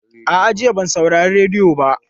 A'a, jiya ban saurari rediyo ba.